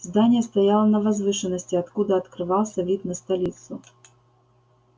здание стояло на возвышенности откуда открывался вид на столицу